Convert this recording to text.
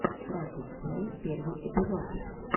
кратос плей первый эпизод